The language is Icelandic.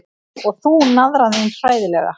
Og þú, naðran þín, hræðilega.